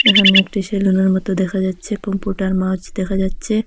এখানে একটি সেলুনের মতো দেখা যাচ্ছে পমপুটার মাওচ দেখা যাচ্ছে।